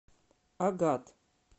агат